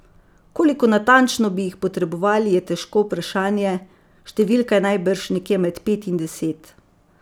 Koliko natančno bi jih potrebovali, je težko vprašanje, številka je najbrž nekje med pet in deset.